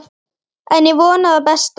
En ég vona það besta.